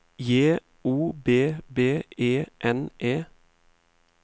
J O B B E N E